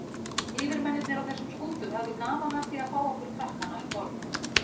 Yfirmennirnir á þessum skútum höfðu gaman af því að fá okkur krakkana um borð.